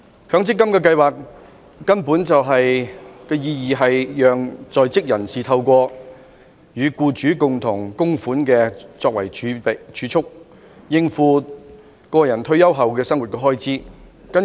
強積金計劃的意義是讓在職人士透過與僱主共同供款作為儲蓄，應付個人退休後的生活開支。